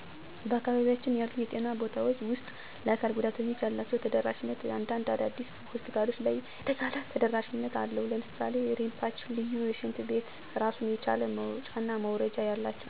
በአካባቢያቸው ያሉ የጤና ቦታውች ውስጥ ለአካል ጉዳተኞች ያላችው ተደራሽነት እንዳንድ አዳዲስ ሆስፒታሎች ለይ የተሻለ ተደረሽነት አለው ለምሳሌ ረምፓች፣ ልዪ ሽንት ቤት ራሱን የቻለ መወጣጨና መውረጃ አላቸው። መሻሻል ያለባቸው ነገሮች በአዲስ የሚሰሩ ህንፃዎች አካል ጉዳተኛችን ታሳቢነት ማድረግ አለበት፣ ለአካል ጉዳተኛ እና ለጤና በለ ሙያዎች ልዩ ስልጠና የሚሰጥበት ቢኖር፣ የአካል ጉዳተኞች መብት መጠበቅ አለበት።